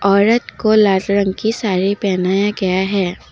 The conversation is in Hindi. औरत को लाल रंग की साड़ी पहनाया गया है।